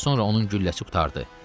Az sonra onun gülləsi qurtardı.